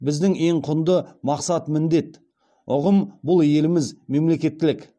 біздің ең құнды мақсат міндет ұғым бұл еліміз мемлекеттілік